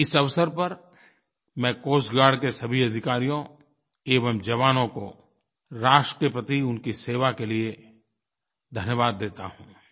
इस अवसर पर मैं कोस्ट गार्ड के सभी अधिकारियों एवं जवानों को राष्ट्र के प्रति उनकी सेवा के लिये धन्यवाद देता हूँ